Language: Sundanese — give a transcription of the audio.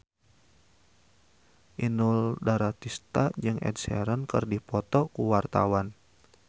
Inul Daratista jeung Ed Sheeran keur dipoto ku wartawan